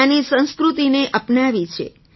ત્યાંની સંસ્કૃતિને અપનાવી છે